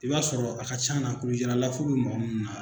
I b'a sɔrɔ a ka c'a na kulusijala lafo be mɔgɔ mun na